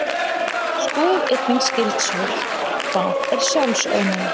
Skoðið einnig skyld svör: Hvað er sjálfsofnæmi?